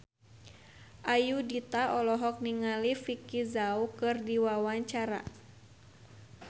Ayudhita olohok ningali Vicki Zao keur diwawancara